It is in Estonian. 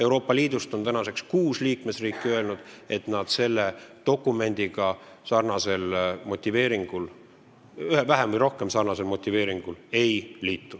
Tänaseks on kuus Euroopa Liidu liikmesriiki öelnud, et vähem või rohkem sarnasest motiveeringust lähtudes nad selle dokumendiga ei liitu.